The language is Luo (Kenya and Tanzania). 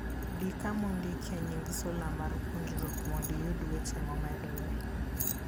Di kama ondikie nying sula mar puonjruok mondo iyud weche momedore.